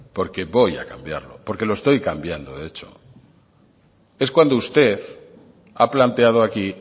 porque voy a cambiarlo porque lo estoy cambiando de hecho es cuando usted ha planteado aquí